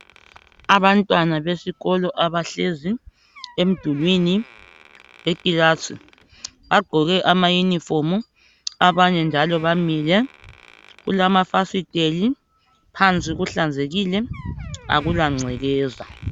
Abantwana besikolo abahlezi emdulwini wekilasi bagqoke amayunifomu, abanye njalo bamile. Kulamafasiteli phansi kuhlanzekile akula ngcekeza.